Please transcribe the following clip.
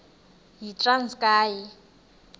yitranskayi